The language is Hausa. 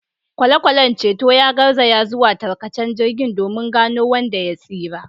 Kwale-kwalen ceton ya garzaya zuwa tarkacen jirgin domin gano wanda ya tsira.